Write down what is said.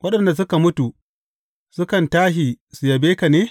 Waɗanda suka mutu sukan tashi su yabe ka ne?